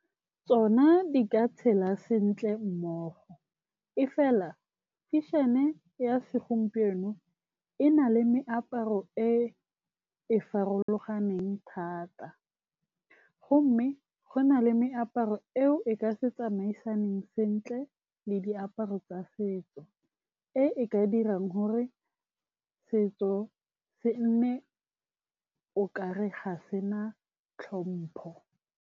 Tsona di ka tshela sentle mmogo, e fela fashion-e ya segompieno e na le meaparo e e farologaneng thata gomme go na le meaparo eo e ka se tsamaisaneng sentle le diaparo tsa setso, e e ka dirang gore setso se nne o kare ga sena tlhompho.